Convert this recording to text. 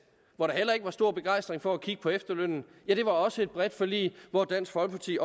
hvor der heller ikke var stor begejstring for at kigge på efterlønnen var også et bredt forlig og dansk folkeparti